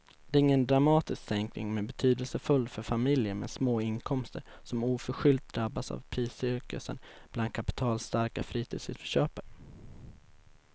Det är ingen dramatisk sänkning men betydelsefull för familjer med små inkomster som oförskyllt drabbats av priscirkusen bland kapitalstarka fritidshusköpare.